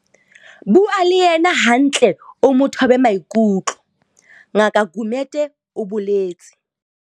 Bua le yena hantle o mo thobe maikutlo, Ngaka Gumede o boletse.